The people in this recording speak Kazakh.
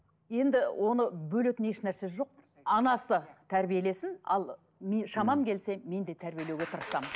енді оны бөлетін еш нәрсе жоқ анасы тәрбиелесін ал шамам келсе мен де тәрбиелеуге тырысамын